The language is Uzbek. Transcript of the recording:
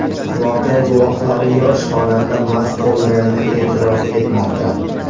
Voqea guvohlari yosh xonanda mast bo‘lganini e’tirof etmoqda.